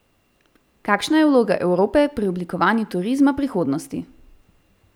Kakšna je vloga Evrope pri oblikovanju turizma prihodnosti?